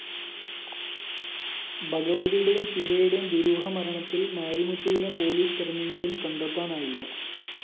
ഭഗവതിയുടേയും ശിവയുടേയും ദുരൂഹമരണത്തില്‍ മാരിമുത്തുവിനെ പോലീസ് തെരഞ്ഞെങ്കിലും കണ്ടെത്താനായില്ല